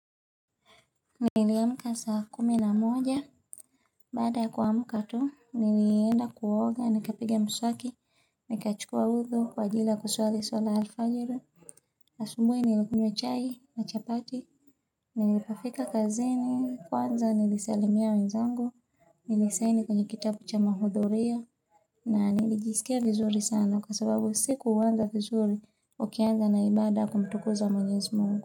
Niliamka saa kumi na moja, baada ya kuamka tu, nilienda kuoga, nikapiga mswaki, nikachukua uthu, kwa ajili ya kuswali swala ya alfajiri, asubui nilikunywa chai na chapati, nilipofika kazini, kwanza nilisalimia wenzangu, nilisaini kwenye kitabu cha mahudurio, na nilijisikia vizuri sana kwa sababu siku huanza vizuri ukianza na ibada ya kumtukuza mwenyezi mungu.